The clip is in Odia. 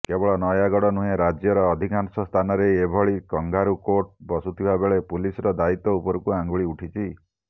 କେବଳ ନୟାଗଡ଼ ନୁହେଁ ରାଜ୍ୟର ଅଧିକାଂଶ ସ୍ଥାନରେ ଏଭଳି କଙ୍ଗାରୁକୋର୍ଟ ବସୁଥିବାବେଳେ ପୁଲିସର ଦାୟିତ୍ୱ ଉପରକୁ ଅଙ୍ଗୁଳି ଉଠିଛି